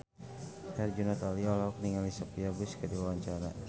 Herjunot Ali olohok ningali Sophia Bush keur diwawancara